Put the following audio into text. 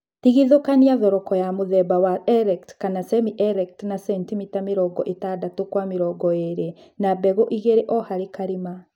Tigithũkania thoroko ya mũthemba wa erect kana semi-erect na sentimita mĩrongo ĩtandatũ kwa mĩrongo ĩlĩ na mbegũ igĩlĩ o harĩ kalĩma